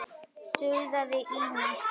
suðaði Ína.